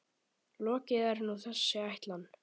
Lokið er nú þessi ætlan.